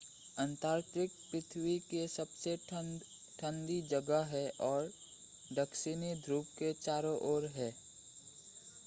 Antarctica पृथ्वी की सबसे ठंडी जगह है और दक्षिणी ध्रुव के चारों ओर है